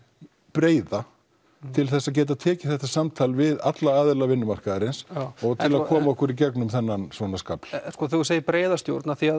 breiða til að geta tekið þetta samtal við alla aðila vinnumarkaðarins og koma okkur í gegnum þennan skafl þegar þú segir breiða stjórn því